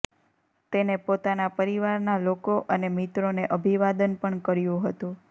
તેને પોતાના પરિવારના લોકો અને મિત્રોને અભિવાદન પણ કર્યું હતું